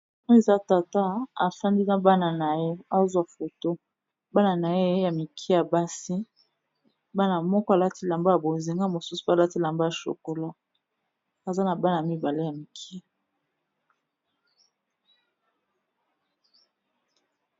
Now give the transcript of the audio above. Oyo eza tata afandi na bana na ye azwa foto bana na ye ya mike ya basi, bana moko alati elamba ya bozinga mosusu pe alati lamba ya chokolat aza na bana mibale ya mike.